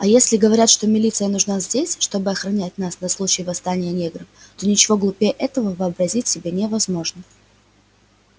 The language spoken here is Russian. а если говорят что милиция нужна здесь чтобы охранять нас на случай восстания негров то ничего глупее этого вообразить себе невозможно